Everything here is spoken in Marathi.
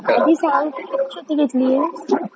आधी सांग किती शेती घेतलीये?